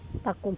Está com